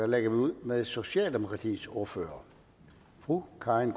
lægger ud med socialdemokratiets ordfører fru karin